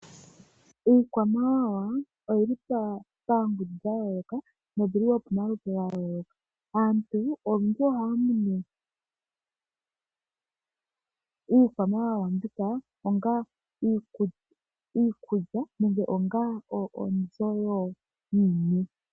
Iikwamawawa oyili pangundu yayooloka noyili wo pamaludhi gayooloka. Aantu olundji ohaya munu iikwamawawa mbika onga uukulya nenge onga onzo yiniwe.